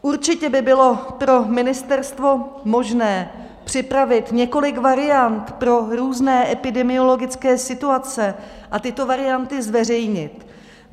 Určitě by bylo pro ministerstvo možné připravit několik variant pro různé epidemiologické situace a tyto varianty zveřejnit.